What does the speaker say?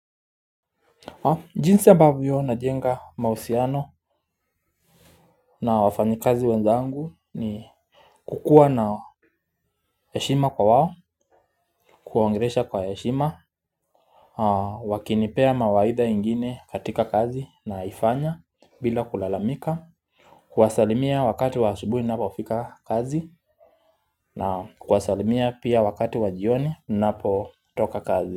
Jinsi ambavyo najenga mahusiano na wafanyikazi wenzangu ni kukuwa na heshima kwa wao kuwaongelesha kwa heshima. Wakinipea mawaidha ingine katika kazi naifanya bila kulalamika. Kuwasalimia wakati wa asubuhi ninapofika kazi na kuwasalimia pia wakati wa jioni ninapotoka kazi.